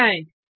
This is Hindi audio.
पर जाएँ